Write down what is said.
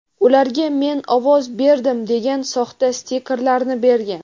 ularga "Men ovoz berdim" degan soxta stikerlarni bergan.